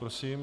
Prosím.